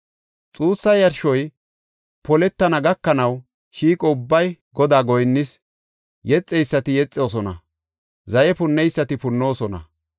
Xuussa yarshoy poletana gakanaw shiiqo ubbay Godaa goyinnees; yexeysati yexoosona; zaye punneysati punnoosona.